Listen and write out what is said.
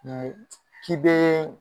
k'i bee